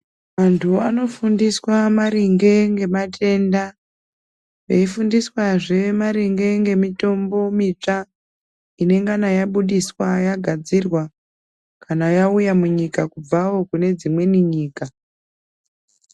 Antu anofundiswa maringe ngematenda eifundiswazve maringe ngemitombo mitsva inengana yabudiswa yagadzirwa kana yauya munyika kubvawo kune dzimweni nyika.